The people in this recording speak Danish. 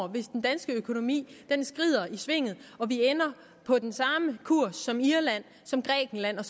hvis den danske økonomi skrider i svinget og vi ender på den samme kurs som irland grækenland og